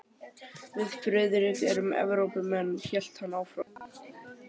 Við Friðrik erum Evrópumenn hélt hann áfram.